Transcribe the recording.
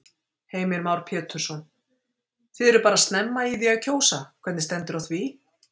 Heimir Már Pétursson: Þið eruð bara snemma í því að kjósa, hvernig stendur á því?